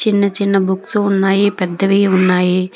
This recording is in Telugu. చిన్న చిన్న బుక్స్ ఉన్నాయి పెద్దవి ఉన్నాయి.